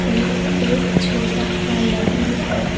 यह एक छोटा सा नदी है।